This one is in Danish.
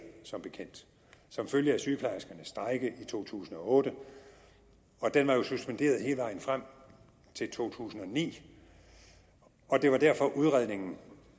som bekendt som følge af sygeplejerskernes strejke i to tusind og otte den var jo suspenderet hele vejen frem til to tusind og ni og det var derfor at udredningen